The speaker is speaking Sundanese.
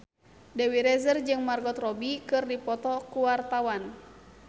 Dewi Rezer jeung Margot Robbie keur dipoto ku wartawan